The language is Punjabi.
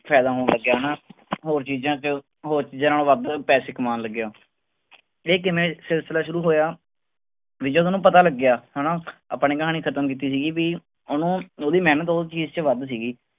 ਫ਼ਾਇਦਾ ਹੋਣ ਲੱਗਿਆ ਨਾ ਹੋਰ ਚੀਜ਼ਾਂ ਚ ਹੋਰ ਚੀਜ਼ਾਂ ਨਾਲੋਂ ਵੱਧ ਪੈਸੇ ਕਮਾਉਣ ਲੱਗਿਆ ਇਹ ਕਿਵੇਂ ਸਿਲਸਿਲਾ ਸ਼ੁਰੂ ਹੋਇਆ, ਵੀ ਜਦ ਉਹਨੂੰ ਪਤਾ ਲੱਗਿਆ ਹਨਾ ਆਪਾਂ ਨੇ ਕਹਾਣੀ ਖ਼ਤਮ ਕੀਤੀ ਸੀਗੀ ਵੀ ਉਹਨੂੰ ਉਹਦੀ ਮਿਹਨਤ ਉਸ ਚੀਜ਼ ਚ ਵੱਧ ਸੀਗੀ।